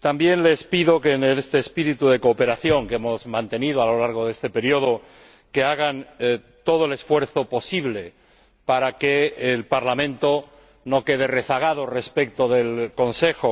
También les pido que, en este espíritu de cooperación que hemos mantenido a lo largo de este periodo, hagan todo el esfuerzo posible para que el Parlamento no quede rezagado respecto del Consejo